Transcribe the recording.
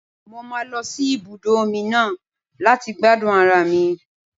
Mo máa lọ sí ibùdó omi náà láti gbádùn ara mi.